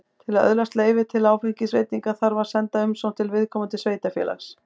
Til að öðlast leyfi til áfengisveitinga þarf að senda umsókn til viðkomandi sveitarfélags.